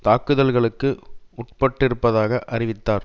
தாக்குதலுக்கு உட்பட்டிருப்பதாக அறிவித்தார்